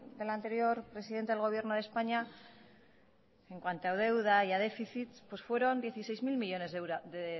del anterior presidente del gobierno de españa en cuanto a deuda y a déficit fueron dieciséis mil millónes de euros de